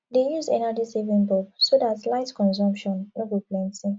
dey use energy saving bulb so dat light consumption no go plenty